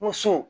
Musow